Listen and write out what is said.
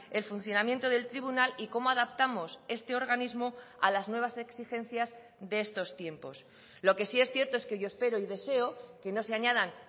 el funcionamiento del tribunal y cómo adaptamos este organismo a las nuevas exigencias de estos tiempos lo que sí es cierto es que yo espero y deseo que no se añadan